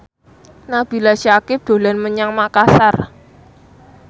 Nabila Syakieb dolan menyang Makasar